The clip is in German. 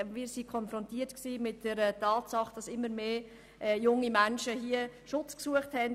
Wir waren hier mit der Tatsache konfrontiert, dass immer mehr junge Menschen bei uns Schutz suchten.